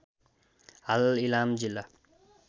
हाल इलाम जिल्ला